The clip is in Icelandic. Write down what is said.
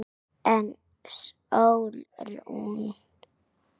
En Sólrún?